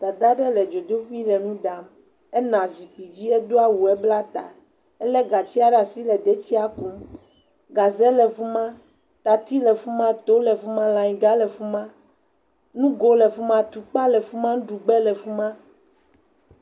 Dada aɖe le dzodoƒee le nu ɖam. Ena zikpui dzi hedo awu hebla ta. Ele gatsdia ɖe asi le detsia kum. Gaze le fi ma, tatsi le fima, to le fi ma, layiga le fi ma, nugo le fi ma, tukpa le fi ma, nuɖugba le fi ma.